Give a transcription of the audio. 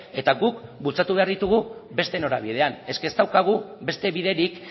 eta guk bultzatu behar ditugu beste norabidean ez daukagu beste biderik